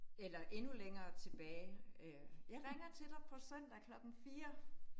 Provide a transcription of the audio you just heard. Eller endnu længere tilbage øh. Jeg ringer til dig på søndag klokken 4